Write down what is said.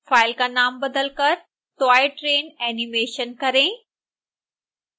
file का नाम बदलकर toytrainanimation करें